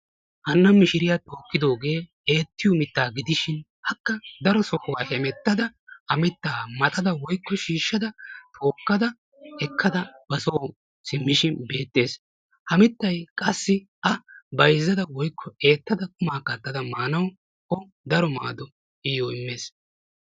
Hanna mishiriya tookkidoogee eettiyo mittaa gidishin akka daro sohuwa hemettada ha mittaa maxada woyikko shiishshada tookkada ekkada ba soo simmishin beettees. Ha mittay qassi a bayizzada woyikko eettada qumaa kattada maanawu o daro maado iyyo immees.